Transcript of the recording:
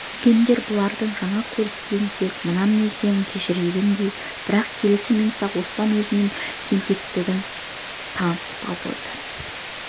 үлкендер бұлардың жаңа көріскенін сезіп мына мінездерін кешіргендей бірақ келесі минутта-ақ оспан өзінің тентектігін танытып абыройдан